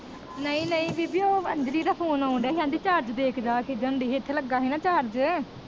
ਨਹੀਂ ਨਹੀਂ ਬੀਬੀ ਉਹ ਅੰਜਲੀ ਦਾ ਫੋਨ ਆਉਣ ਡੇਆ ਸੀ ਕਹਿੰਦੀ ਚਾਰਜ ਦੇਖ ਜਾ ਕੇ ਜਾਂਦੀ ਸੀ ਇਥੇ ਲੱਗਾ ਨਾ ਚਾਰਜ